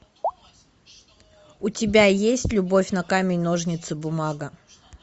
у тебя есть любовь на камень ножницы бумага